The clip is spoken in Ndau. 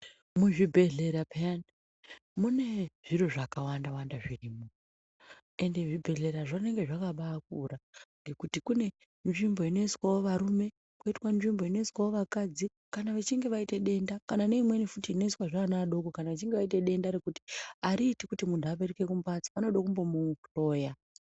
Muzvibhedhlera piyani, mune zviro zvakawanda wanda zvirimo. Ende zvibhedhlerazvo zvinenge zvabakura ngekuti kunewo nzvimbo inoiswa varume koitwa nzvimbo inoiswa vakadzi kana vachinge vaita denda. Kana neimweni inoiswawo vana vadoko vachinge vaita denda, ngekuti ariiti muntu apetuke kumbatso vanoda kumbomuhloya.